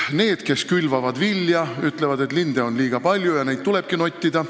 Need, kes külvavad vilja, ütlevad, et linde on liiga palju ja neid tulebki nottida.